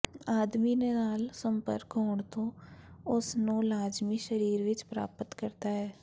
ਆਦਮੀ ਦੇ ਨਾਲ ਸੰਪਰਕ ਹੋਣ ਤੇ ਉਸ ਨੂੰ ਲਾਜ਼ਮੀ ਸਰੀਰ ਵਿੱਚ ਪ੍ਰਾਪਤ ਕਰਦਾ ਹੈ